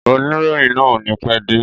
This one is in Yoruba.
Oníròyìn náà o ní pẹ́ dé.